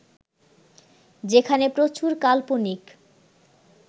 যেখানে প্রচুর কাল্পনিক